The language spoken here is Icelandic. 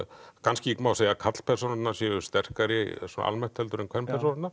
kannski má segja að karlpersónurnar séu sterkari svona almennt heldur en